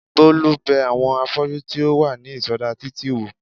Bólú bẹ àwọn afọ́jú tí ó wà ní ìsọdá títì wò